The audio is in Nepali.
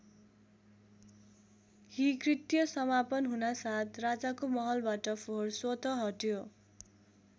यी कृत्य समापन हुनासाथ राजाको महलबाट फोहोर स्वतः हट्यो।